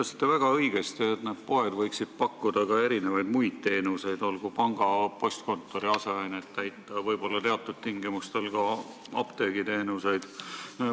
Te ütlesite väga õigesti, et poed võiksid pakkuda erinevaid teenuseid, näiteks panga ja postkontori aset täita, võib-olla teatud tingimustel osutada ka apteegiteenuseid.